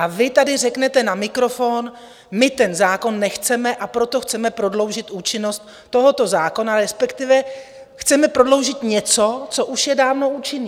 A vy tady řeknete na mikrofon: My ten zákon nechceme, a proto chceme prodloužit účinnost tohoto zákona, respektive chceme prodloužit něco, co už je dávno účinné.